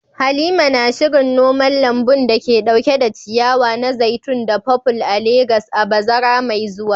Halima na shirin noman lambun da ke dauke da ciyawa na zaitun da purple a Legas a bazara mai zuwa.